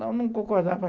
Não, não concordava.